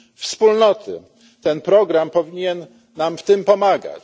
wspólnoty ten program powinien nam w tym pomagać.